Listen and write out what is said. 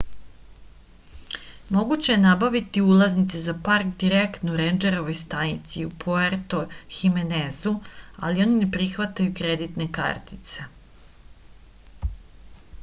moguće je nabaviti ulaznice za park direktno u rendžerovoj stanici u puerto himenezu ali oni ne prihvataju kreditne kartice